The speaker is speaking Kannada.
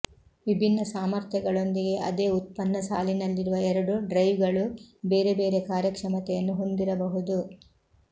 ವಿಭಿನ್ನ ಸಾಮರ್ಥ್ಯಗಳೊಂದಿಗೆ ಅದೇ ಉತ್ಪನ್ನ ಸಾಲಿನಲ್ಲಿರುವ ಎರಡು ಡ್ರೈವ್ಗಳು ಬೇರೆ ಬೇರೆ ಕಾರ್ಯಕ್ಷಮತೆಯನ್ನು ಹೊಂದಿರಬಹುದು